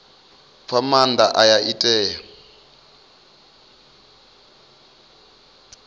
fha maanda aya i tea